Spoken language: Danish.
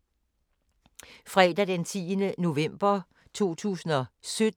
Fredag d. 10. november 2017